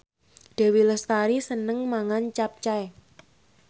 Dewi Lestari seneng mangan capcay